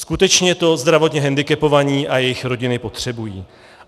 Skutečně to zdravotně hendikepovaní a jejich rodiny potřebují.